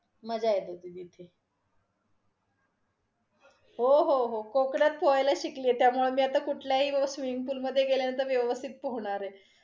मजा येत होती तिथे. हो हो हो, कोकणात पोहायला शिकले त्यामुळे मी कुठल्याही swimming pool मधे गेल्यानंतर मी व्यवस्थित पोहणार आहे.